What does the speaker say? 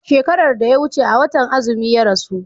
shekaran da ya wuce a watan azumi ya rasu